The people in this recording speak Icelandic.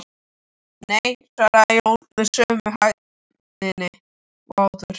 Nei, svaraði Jón með sömu hægðinni og áður.